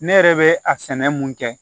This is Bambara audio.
Ne yɛrɛ bɛ a sɛnɛ mun kɛ